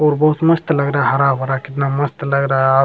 और बहुत मस्त लग रहा है हरा-भरा कितना मस्त रहा --